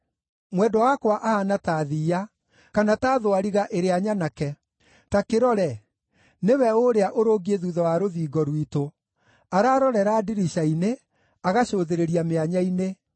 Mwendwa wakwa ahaana ta thiiya, kana ta thwariga ĩrĩa nyanake. Ta kĩrore! Nĩwe ũũrĩa ũrũngiĩ thuutha wa rũthingo rwitũ, ararorera ndirica-inĩ, agacũthĩrĩria mĩanya-inĩ.